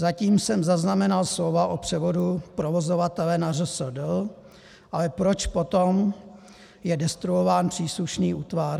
Zatím jsem zaznamenal slova o převodu provozovatele na ŘSD - ale proč potom je destruován příslušný útvar?